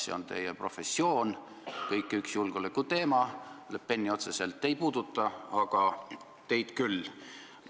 See on teie professioon, kõik see on üks julgeolekuteema, Le Peni otseselt ei puuduta, aga teid küll.